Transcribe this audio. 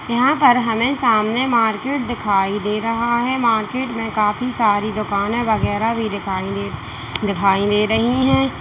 यहां पर हमें सामने मार्केट दिखाई दे रहा है मार्केट में काफी सारी दुकाने वगैरा भी दिखाइए दे दिखाई दे रही है।